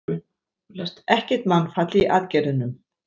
Ekkert mannfall í aðgerðunum